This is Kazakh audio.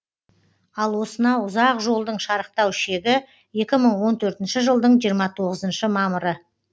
ал осынау ұзақ жолдың шарықтау шегі екі мың он төнртінші жылдың жиырма тоғызыншы мамыры